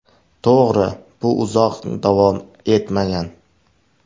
To‘g‘ri, bu uzoq davom etmagan.